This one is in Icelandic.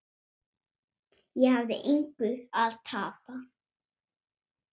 Ég hafði engu að tapa.